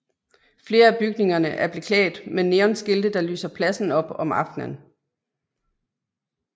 Flere af bygningerne er beklædt med neonskilte der lyser pladsen op om aften